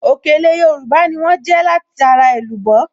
Òkèlè Yorùbá ni wọ́n jẹ́ látara èlùbọ́